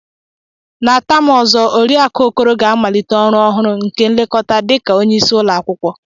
Na taam ozo, oriakụ Okoro ga-amalite ọrụ ọhụrụ nke nlekọta dị ka onyeisi ụlọakwụkwọ.